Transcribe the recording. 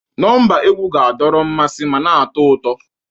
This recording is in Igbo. Nọmba egwu ga-adọrọ mmasị ma na-atọ ụtọ.